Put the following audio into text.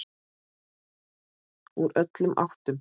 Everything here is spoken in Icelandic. Úr öllum áttum.